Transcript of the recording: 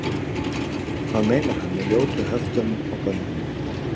hvað meinar hann með ljótu höftunum og bönnunum